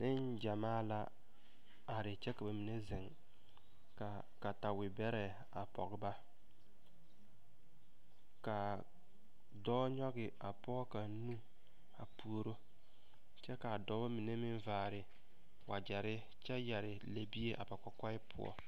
Neŋgyɛmaa are kyɛ ka ba mine zeŋ ka katewebɛrɛ a pɔge ba ka a dɔɔ nyɔge a pɔge kaŋ nu a puoro kyɛ ka a dɔba mine meŋ vaare wagyɛre kyɛ yɛre lɛbie a ba kɔkɔɛ poɔ.